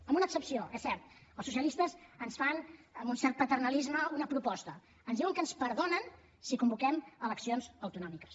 amb una excepció és cert els socialistes ens fan amb un cert paternalisme una proposta ens diuen que ens perdonen si convoquem eleccions autonòmiques